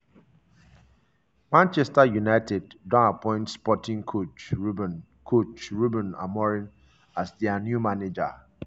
manchester united don appoint sporting coach ruben coach ruben amorim as dia new manager.